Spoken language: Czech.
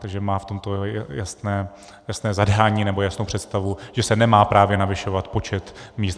Takže má v tomto jasné zadání nebo jasnou představu, že se nemá právě navyšovat počet míst.